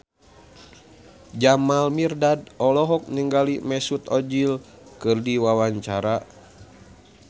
Jamal Mirdad olohok ningali Mesut Ozil keur diwawancara